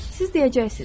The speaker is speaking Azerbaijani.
Siz deyəcəksiniz: